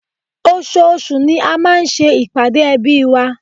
oṣooṣù ni a máa ń ṣe ìpàdé ẹbí wa